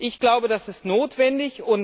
Ich glaube, das ist notwendig.